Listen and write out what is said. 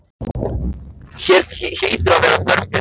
Hér hlýtur að vera þörf fyrir mig.